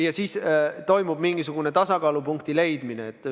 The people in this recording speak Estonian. Ja siis toimub mingisugune tasakaalupunkti saavutamine.